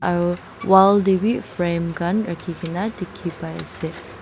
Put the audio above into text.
Aro wall dae bhi frame khan rakhikena dekhey pai ase.